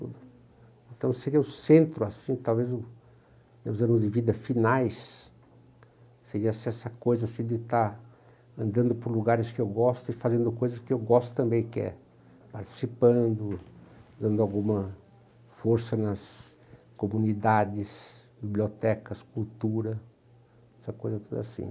Então seria o centro assim, talvez o os meus anos de vida finais, seria essa coisa assim de estar andando por lugares que eu gosto e fazendo coisas que eu gosto também, que é participando, dando alguma força nas comunidades, bibliotecas, cultura, essa coisa toda assim.